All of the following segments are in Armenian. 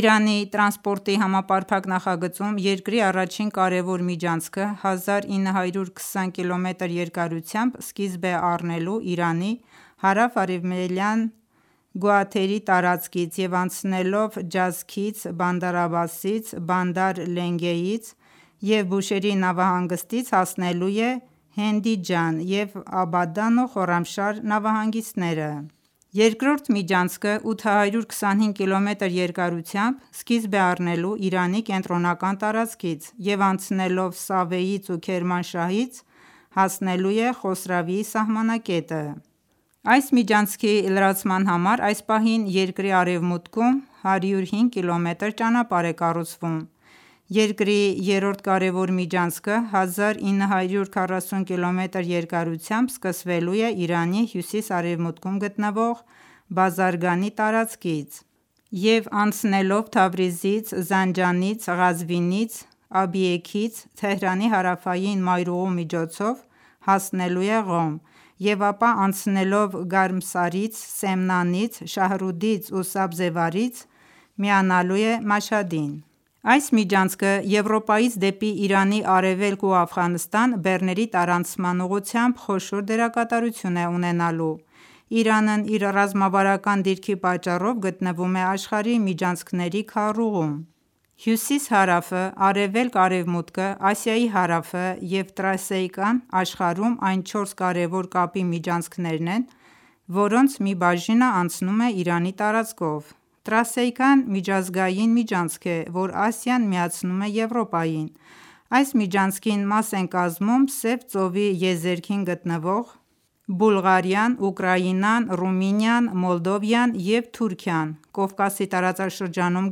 Իրանի տրանսպորտի համապարփակ նախագծում երկրի առաջին կարևոր միջանցքը 1920կմ երկարությամբ սկիզբ է առնելու Իրանի հարավ-արևելյան Գուաթերի տարածքից և անցնելով Ջասքից, Բանդար Աբբասից, Բանդար Լենգեից ու Բուշեհրի նավահանգստից հասնելու է Հենդիջան և Աբադան ու Խոռամշահր նավահանգիստները: Երկրորդ միջանցքը 825կմ երկարությամբ սկիզբ է առնելու Իրանի կենտրոնական տարածքից և անցնելով Սավեից ու Քերմանշահից հասնելու է Խոսրավիի սահմանակետը: Այս միջանցքի լրացման համար այս պահին երկրի արևմուտքում 105կմ ճանապարհ է կառուցվում: Երկրի երրորդ կարևոր միջանցքը 1940կմ երկարությամբ սկսվելու է Իրանի հյուսիս-արևմուտքում գտնվող Բազարգանի տարածքից և անցնելով Թավրիզից, Զանջանից, Ղազվինից, Աբիեքից, Թեհրանի հարավային մայրուղու միջոցով հասնելու է Ղոմ և ապա անցնելով Գարմսարից, Սեմնանից, Շահռուդից ու Սաբզեվարից միանալու է Մաշհադին: Այս միջանցքը Եվրոպայից դեպի Իրանի արևելք ու Աֆղանստան բեռների տարանցման ուղղությամբ խոշոր դերակատարություն է ունենալու: Իրանն իր ռազմավարական դիրքի պատճառով գտնվում է աշխարհի միջանցքների քառուղիում «Հյուսիս-հարավ»-ը, «Արևելք-արևմուտք»-ը, «Ասիայի հարավ»-ը և «Տրասիկա»-ն աշխարհում այն չորս կարևոր կապի միջանցքներն են, որոնց մի բաժինն անցնում է Իրանի տարածքով: «Տրասիկա»-ն միջազգային միջանցք է, որ Ասիան միացնում է Եվրոպային: Այս միջանցքին մաս են կազմում Սև ծովի եզերքին գտնվող Բուլղարիան, Ուկրաինան, Ռումինիան, Մոլդովան և Թուրքիան, Կովկասի տարածաշրջանում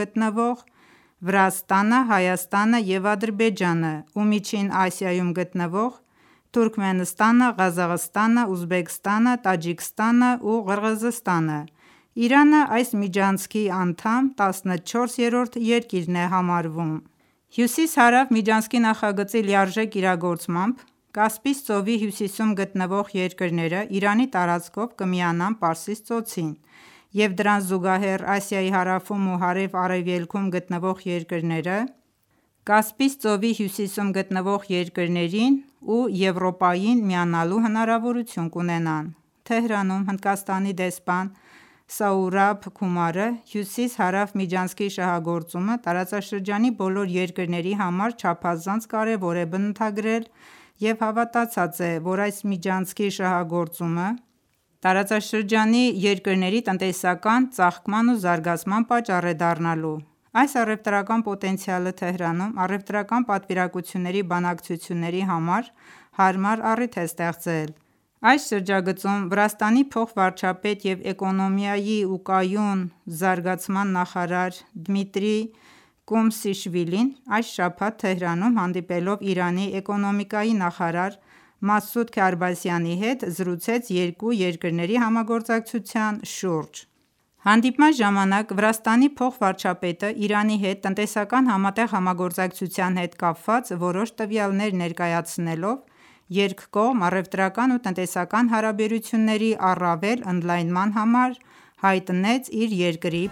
գտնվող Վրաստանը, Հայաստանն ու Ադրբեջանը և Միջին Ասիայում գտնվող Թուրքմենստանը, Ղազախստանը, Ուզբեկստանը, տաջիկստանն ու Ղրղզստանը: Իրանն այս միջանցքի անդամ 14-րդ երկիրն է համարվում: Հյուսիս-հարավ միջանցքի նախագծի լիարժեք իրագործմամբ Կասպից ծովի հյուսիսում գտնվող երկրներն Իրանի տարածքով կմիանան Պարսից ծոցին և դրան զուգահեռ Ասիայի հարավում ու հարավ-արևելքում գտնվող երկրները Կասպից ծովի հյուսիսում գտնվող երկրներին ու Եվրոպային միանալու հնարավորություն կունենան: Թեհրանում Հնդկաստանի դեսպան Սաուրաբ Քումարը հյուսիս-հարավ միջանցքի շահագործումը տարածաշրջանի բոլոր երկրների համար չափազանց կարևոր է բնութագրել և համոզված է, որ այս միջանցքի շահագործումը տարածաշրջանի երկրների տնտեսական ծաղկման ու զարգացման պատճառ է դառնալու: Այս առևտրական պոտենցիալը Թեհրանում առևտրական պատվիրակությունների բանակցությունների համար հարմար առիթ է ստեղծել: Այս շրջագծում Վրաստանի փոխվարչապետ և էկոնոմիկայի ու կայուն զարգացման նախարար Դմիտրի Կոմշիշվիլին այս շաբաթ Թեհրանում հանդիպելով Իրանի էկոնոմիկայի նախարար Մասուդ Քարբասիանի հետ զրուցեց երկու երկրների համագործակցության շուրջ: Հանդիպման ժամանակ Վրաստանի փոխվարչապետը Իրանի հետ տնտեսական համատեղ համագործակցության հետ կապված որոշ տվյալներ ներկայացնելով երկկողմ առևտրական ու տնտեսական հարաբերությունների առավել ընդլայնման համար հայտնեց իր երկրի